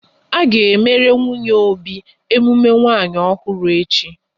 A ga emere nwunye Obi emume nwanyi ọhụrụ echi